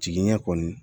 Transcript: Jigiɲɛ kɔni